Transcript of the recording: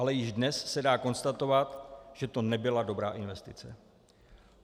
Ale již dnes se dá konstatovat, že to nebyla dobrá investice.